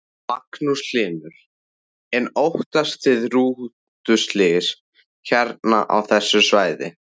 Magnús Hlynur: En óttist þið rútuslys hérna á þessu svæði?